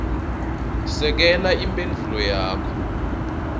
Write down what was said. sekela imphendvulo yakho